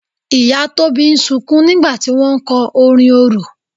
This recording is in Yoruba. Ìyá Tóbi ń sunkún nígbà tí wọ́n ń kọ orin orò.